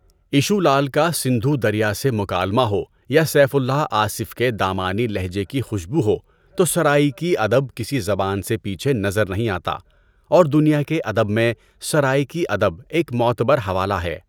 Issue Lal کا سندھو دریا سے مکالمہ ہو یا سیف الئہ آصفؔ کے دامانی لہجے کی خوشبو ہو تو سرائیکی ادب کسی زبان سے پیچھے نظر نہیں آتا اور دنیا کے ادب میں سرائیکی ادب ایک معتبر حوالہ ہے۔